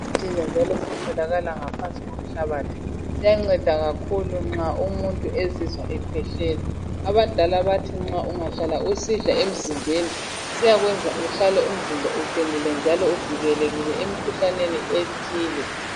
Yi ginger njalo sitholakala ngaphansi komhlabathi siyanceda kakhulu nxa umuntu ezizwa ekhwehlela. Abadala bathi nxa ungahlala usidla emzimbeni siyakwenza uhlale umzimba uqinile njalo uvikelekile emkhuhlaneni ethile.